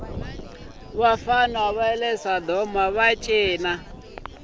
vafana vale sodomava cina swinene